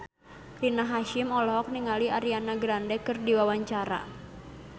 Rina Hasyim olohok ningali Ariana Grande keur diwawancara